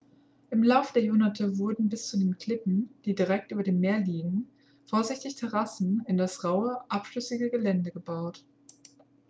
im laufe der jahrhunderte wurden bis zu den klippen die direkt über dem meer liegen vorsichtig terrassen in das raue abschüssige gelände gebaut